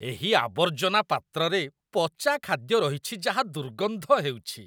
ଏହି ଆବର୍ଜନା ପାତ୍ରରେ ପଚା ଖାଦ୍ୟ ରହିଛି ଯାହା ଦୁର୍ଗନ୍ଧ ହେଉଛି